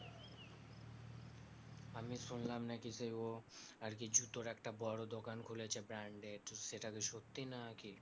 আমি শুনলাম নাকি যে ও আরকি জুতোর একটা বড়ো দোকান খুলেছে branded সেটাকি সত্যি না কি